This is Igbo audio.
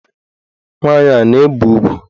Nwaanyị a na-ebe ugwu?